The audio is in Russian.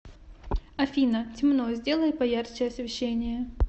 афина темно сделай поярче освещение